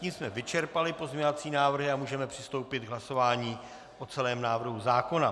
Tím jsme vyčerpali pozměňovací návrhy a můžeme přistoupit k hlasování o celém návrhu zákona.